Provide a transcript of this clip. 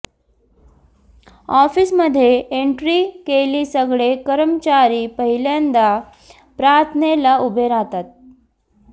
ऑफिसमध्ये एंट्री केली सगळे कर्मचारी पहिल्यांदा प्रार्थनेला उभे राहतात